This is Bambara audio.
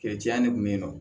ne kun be yen nɔ